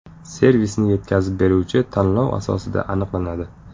Servisni yetkazib beruvchi tanlov asosida aniqlanadi.